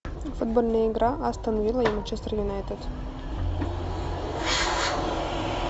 футбольная игра астон вилла и манчестер юнайтед